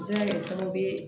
Bɛ se ka kɛ sababu ye